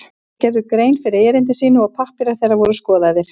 Þeir gerðu grein fyrir erindi sínu og pappírar þeirra voru skoðaðir.